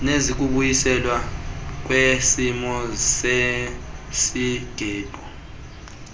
nezokubuyiselwa kwesimo sesiqhelo